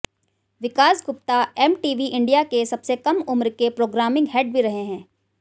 विकास Gupta MTV India के सबसे कम उम्र के प्रोग्रामिंग हेड भी रहे हैं